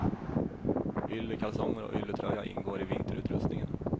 Yllekalsonger och ylletröja ingår i vinterutrustningen.